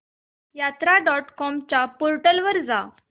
यात्रा dot com च्या portal वर जा